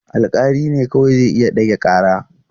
Alƙali ne kawai zai iya ɗage ƙara.